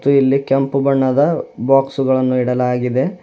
ಇಲ್ಲಿ ಕೆಂಪು ಬಣ್ಣದ ಬಾಕ್ಸ್ ಗಳನ್ನು ಇಡಲಾಗಿದೆ.